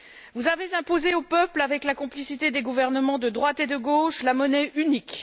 Vous avez imposé aux peuples, avec la complicité des gouvernements de droite et de gauche, la monnaie unique.